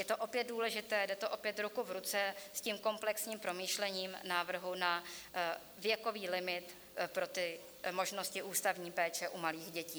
Je to opět důležité, jde to opět ruku v ruce s tím komplexním promýšlením návrhu na věkový limit pro ty možnosti ústavní péče u malých dětí.